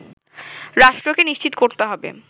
রাষ্ট্রকে নিশ্চিত করতে হবে